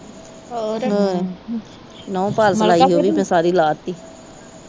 ਨੋਹ polish ਲਾਈ ਹੀ ਓਵੀ ਤੇ ਸਾਰੀ ਲਾਤੀ